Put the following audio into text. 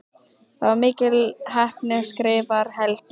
Það var mikil heppni skrifar Helgi.